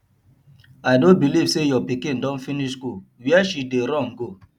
i no believe say your pikin don finish school where she dey run go